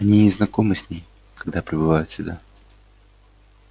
они не знакомы с ней когда прибывают сюда